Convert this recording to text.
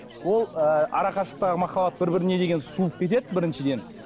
ол ы арақашықтықтағы махаббат бір біріне деген суып кетеді біріншіден